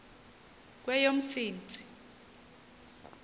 kweyomsintsi